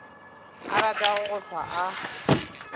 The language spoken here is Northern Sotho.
a ratago go hlwa a